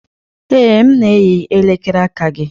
Ee, m na-eyi elekere aka gị